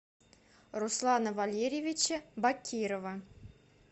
руслана валерьевича бакирова